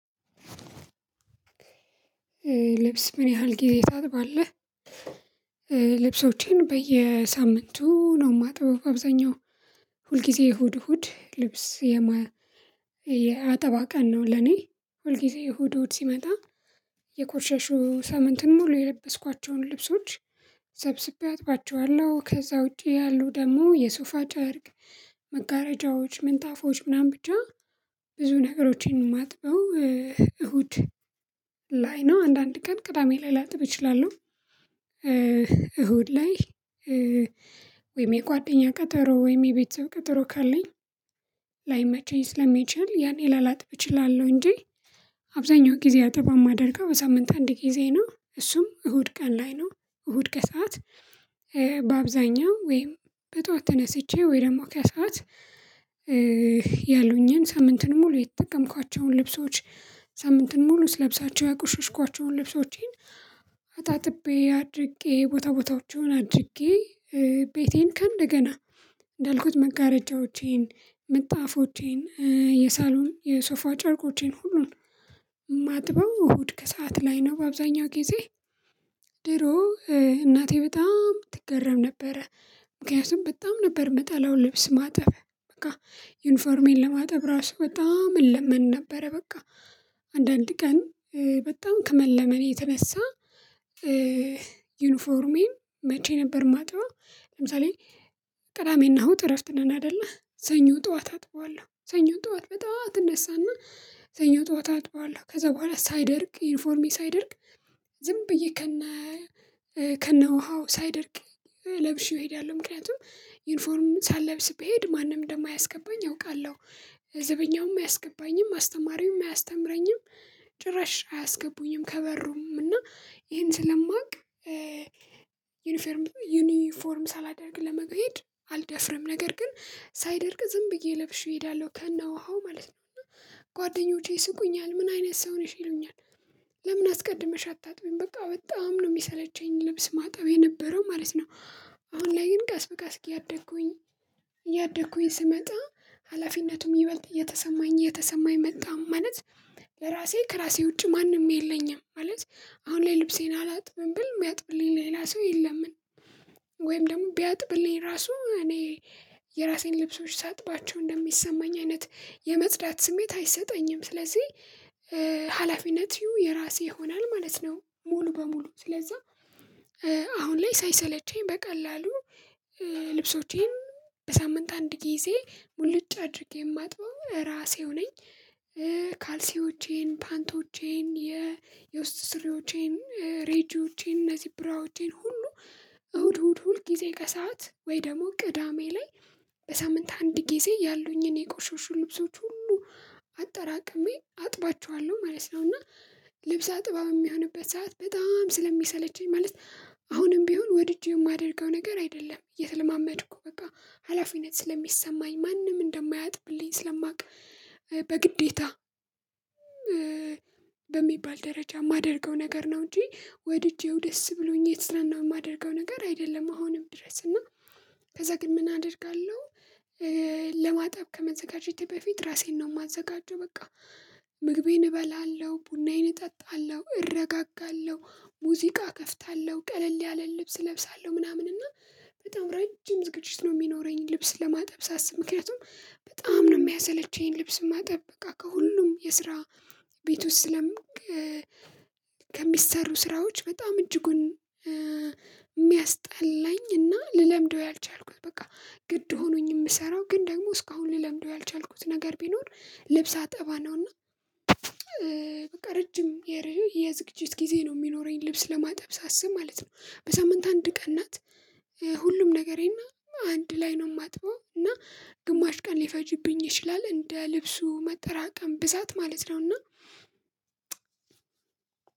ልብስ ምን ያህል ጊዜ ታጥባለህ? ልብሶቼን በየሳምንቱ ነው ማጥበው አብዛኛው ሁልጊዜ እሁድ እሁድ ልብስ የማጥበው የአጠባ ቀን ነው ለኔ። ሁልጊዜ እሁድ እሁድ ሲመጣ የቆሸሹ ሳምንትን ሙሉ የለበስኳቸውን ልብሶች። ሰብስቤ አጥባቸዋለሁ ከዛ ውጪ ያሉ ደግሞ የሱፋ ጨርቅ መጋረጃዎች ምንጣፌች ምናምን ብቻ ብዙ ነገሮችን የማጥበው። እሁድ ላይ ነው አንዳንድ ቀን ቅዳሜ ላይ ላጥብ እችላለሁ። እሁድ ላይ ወይም የጓደኛ ቀጠሮ ወይም የቤተሰብ ቀጠሮ ካለኝ ላይመቸኝ ስለሚችል ያኔ ላላጥብ እችላለሁ እንጂ። አብዛኛው ጊዜ አጥባ የማደርገው በሳምንት አንድ ጊዜ ነው እሱም እሁድ ቀን ላይ ነው። እሁድ ከሰአት በአብዛኛው ወይም በጧት ተነስቼ ወይ ደግሞ ከሰአት ያሉኝን ሳምንትን ሙሉ የተጠቀምኳቸውን ልብሶች ሳምንትን ሙሉ ለብሳቸው ያቁሽሽኳቸውን ልብሶቼን አጥቤ አድርጌ ቦታ ቦታዎቼን አድርጌ ቤቴን ከእንደገና እንዳልኩት መጋረጃዎቼን ምጣፎቼን የሳሎን የሶፋ ጨርቆቼን ሁሉን ማጥበው እሁድ ከሰአት ላይ ነው በአብዛኛው ጊዜ። ድሮ እናቴ በጣም ትገረም ነበረ። ምክንያቱም በጣም ነበር የምጠላውን ልብስ ማጠብ በቃ ዩኒፎርሜን ለማጠብ ራሱ በጣም እንለምን ነበረ። በቃ አንዳንድ ቀን በጣም ከመለመኔ የተነሳ ዩኒፎርሜን መቼ ነበር ማጥበው? ለምሳሌ ቅዳሜና እሁድ እረፍት ነን አይደለ ሰኞ ጠዋት አጥበዋለሁ ሰኞ ጠዋት በጣም ትነሳና የተኛው ጠዋት አጥበዋለሁ ከዛ በኋላ ሳይደርግ ዩኒፎርሜ ሳይደርግ ዝም ብዬ ከነ ከነ ውሃው ሳይደርቅ ለብሼው እሄዳለሁ። ምክንያቱም ዩኒፎርም ሳልለብስ ብሄድ ማንም ደም አያስገባኝ አውቃለሁ ዘበኛውም አያስገባኝም አስተማሪውም አያስተምረኝም። ጭራሽ አያስገቡኝም ከበሮ እና ይሄን ስለማውቅ ዩኒፎርም ዩኒፎርም ሳላደርግ ለመሄድ አልደፍርም ነገር ግን ሳይደርግ ዝም ብዬ ለብሼ እሄዳለሁ። ከነውሃው ማለት ጓደኞቼ ይስቁኛል ምን አይነት ሰው ነሽ ይሉኛል። ለምን አስቀድመሽ አታጥቢም? በቃ በጣም ነው የሚሰለቸኝ ልብስ ማጣው የነበረው ማለት ነው። አሁን ላይ ግን ቀስ በቃ እስኪ ያደኩኝ እያደኩኝ ስመጣ ሀላፊነቱም ይበልጥ የተሰማኝ የተሰማ የመጣም ማለት ለራሴ ከራሴ ውጪ ማንም የለኝም። ማለት አሁን ላይ ልብሴን አላጥብም ብል የሚያጥብልኝ ሌላ ሰው የለምንም። ወይም ደግሞ ቢያጥብልኝ ራሱ እኔ የራሴን ልብሶች ሳጥባቸው እንደሚሰማኝ አይነት የመጽዳት ስሜት አይሰጠኝም ስለዚህ ሀላፊነቱ የራሴ ይሆናል ማለት ነው። ሙሉ በሙሉ ስለዛ አሁን ላይ ሳይሰለቸኝ በቀላሉ ልብሶቼን በሳምንት አንድ ጊዜ ሙሉጭ አድርጌ የማጥበው ራሴው ነኝ። ካልሲዎቼን ፓንቶቼን የ የውስጥ ስሪዎቼን ሬጂዎቼን እነዚህ ብራዎቼን ሁሉ እሁድ እሁድ ሁል ጊዜ ከሰአት ወይ ደግሞ ቅዳሜ ላይ በሳምንት አንድ ጊዜ ያሉኝን የቆሸሹ ልብሶች ሁሉ አጠራቅሜ አጥባቸዋለሁ ማለት ነው። እና ልብስ አጠባ የሚሆንበት ሰዓት በጣም ስለሚሰለቸኝ ማለት አሁንም ቢሆን ወድጄ የማደርገው ነገር አይደለም እየተለማመድኩ በቃ ሀላፊነት ስለሚሰማኝ ማንም እንደማያጥብልኝ ስለማውቅ በግዴታ በሚባል ደረጃ የማደርገው ነገር ነው። እንጂ ወድጄው ደስ ብሎኝ የት ስለናንተ የማደርገው ነገር አይደለም። አሁንም ድረስ እና ከዛ ግን ምን አደርጋለሁ? ለማጠብ ከመዘጋጀቴ በፊት ራሴን ነው የማዘጋጀው በቃ ምግቤን እበላለሁ ቡናዬን እጠጣለሁ እረጋጋለሁ ሙዚቃ እከፍታለሁ ቀለል ያለን ልብስ እለብሳለሁ ምናምን እና በጣም ረጅም ዝግጅት ነው። የሚኖረኝ ልብስ ለማጠብ ሳስብ ምክንያቱም በጣም ነው የሚያሰለቸኝ ልብስ ማጠብ በቃ ከሁሉም የስራ ቤት ውስጥ ስለምንገ ከሚሰሩ ስራዎች በጣም እጅጉን የሚያስጠላኝ እና ልለምደው ያልቻልኩት በቃ ግድ ሆኖኝ የምሰራው ግን ደግሞ እስካሁን ልለምደው ያልቻልኩት ነገር ቢኖር ልብስ አጠባ ነውና። በቃ ረጅም የርህ የዝግጅት ጊዜ ነው የሚኖረኝ ልብስ ለማጠብ ሳስብ ማለት ነው። በሳምንት አንድ ቀን ናት ሁሉም ነገሬና አንድ ላይ ነው የማጥበው እና ግማሽ ቀን ሊፈጅብኝ ይችላል እንደ ልብሱ መጠራቀም ብዛት ማለት ነው። እና